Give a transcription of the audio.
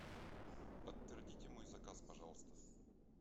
подтвердите мой заказ пожалуйста